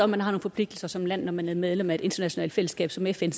man har nogle forpligtelser som land når man er medlem af et internationalt fællesskab som fn